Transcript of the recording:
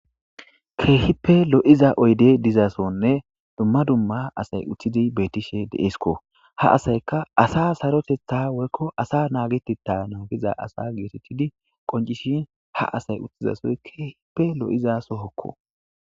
keehipe lo7iza oyde dizasonne dumma dumma asay uttidi beetishe deesiko ha asayka asa sarotetha woykko asa naagetetta naagiza asa geetettidi qoncishin ha asay uttizasoy keehipe lo7iza sohokko